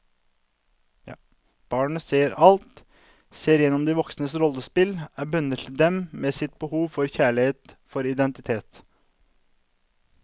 Barnet ser alt, ser igjennom de voksnes rollespill, er bundet til dem med sitt behov for kjærlighet, for identitet.